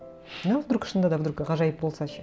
а вдруг шынында да вдруг ғажайып болса ше